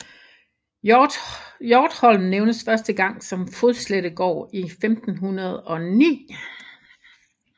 Hjortholm nævnes første gang som Fodslettegaard i 1509